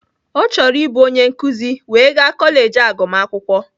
Ọ chọrọ ịbụ onye nkuzi wee gaa kọleji agụmakwụkwọ